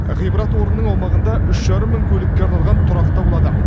ғибрат орынның аумағында үш жарым мың көлікке арналған тұрақ та болады